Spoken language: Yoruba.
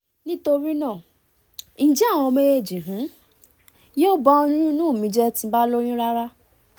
nitorinaa njẹ awọn méjèèjì um yo ba oyun inu mi jẹ ti mo ba loyun rara?